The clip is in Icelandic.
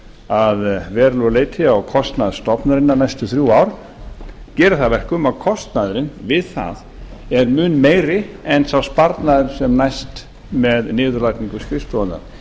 að verulegu leyti á kostnað stofnunarinnar næstu þrjú ár gerir það að verkum að kostnaðurinn við það er mun meiri en sá sparnaður sem næst með niðurlagningu skrifstofunnar